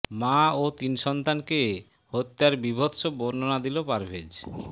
মা ও তিন সন্তানকে হত্যার বীভৎস বর্ণনা দিল পারভেজ